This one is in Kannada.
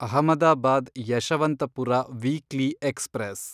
Ahmedabad Yeshwantpur weekly express